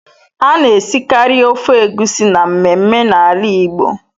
A na-esikari ofe egusi na mmemme na ala Igbo.